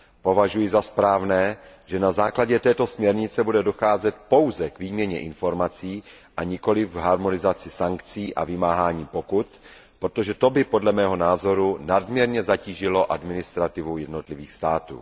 Považuji za správné, že na základě této směrnice bude docházet pouze k výměně informací, a nikoliv k harmonizaci sankcí a vymáhání pokut, protože to by podle mého názoru nadměrně zatížilo administrativu jednotlivých států.